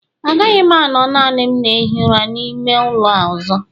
Agaghị m anọ naanị m na-ehi ụra n'ime ụlọ a ọzọ